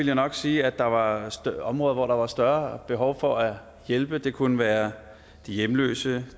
jeg nok sige at der var områder hvor der var større behov for at hjælpe det kunne være de hjemløse